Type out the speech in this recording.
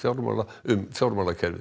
um fjármálakerfið